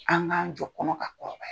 An k'an jɔ kɔnɔ ka kɔrɔbaya.